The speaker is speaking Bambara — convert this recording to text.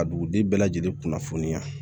Ka dugudi bɛɛ lajɛlen kunnafoniya